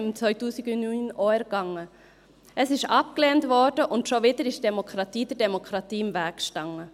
Dies wurde abgelehnt, und schon wieder stand die Demokratie der Demokratie im Weg.